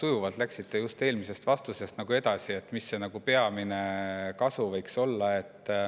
Väga sujuvalt läksite edasi eelmisest vastusest, et mis see peamine kasu võiks olla.